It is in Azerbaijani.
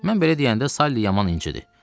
Mən belə deyəndə Salli yaman incidi.